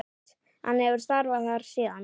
Hann hefur starfað þar síðan.